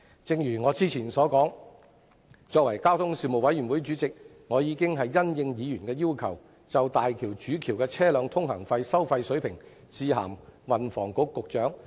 正如我之前所說，身為交通事務委員會的主席，我已經因應議員的要求，就大橋主橋的車輛通行費收費水平致函運房局局長。